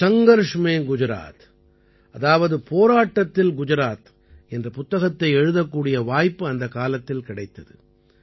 சங்கர்ஷ் மேன் குஜராத் அதாவது போராட்டத்தில் குஜராத் என்ற புத்தகத்தை எழுதக்கூடிய வாய்ப்பு அந்தக் காலத்தில் கிடைத்தது